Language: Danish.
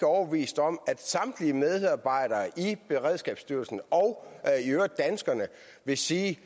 overbevist om at samtlige medarbejdere i beredskabsstyrelsen og i øvrigt danskerne vil sige